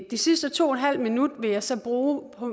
de sidste to en halv minutter vil jeg så bruge på